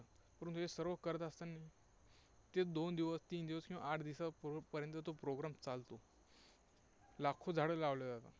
परंतु हे सर्व करत असतानी ते दोन दिवस, तीन दिवस किंवा आठ दिवसांपर्यंत तो program चालतो, लाखो झाडं लावली जातात.